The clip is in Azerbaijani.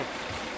Gedək.